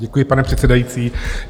Děkuji, pane předsedající.